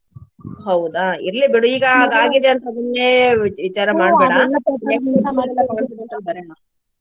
ಹೌದಾ ಇರ್ಲಿ ಬಿಡು ಈಗ ಆದ ಆಗಿದೆ ಅಂತ ಸುಮ್ನೆ ವಿ~ ವಿಚಾರ ಮಾಡ್ಬೇಡಾ next ಮಾತ್ರ ಬರೋಣ.